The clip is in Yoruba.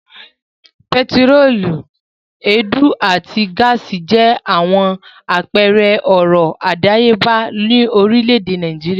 Pẹtírólíúmù, èédú àti gáásì jẹ́ àwọn àpẹẹrẹ ọrọ̀ àdáyébà orílẹ̀-èdè Nàìjíríà.